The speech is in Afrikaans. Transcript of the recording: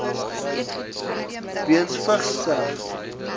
weens vigs sterf